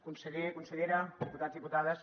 conseller consellera diputats diputades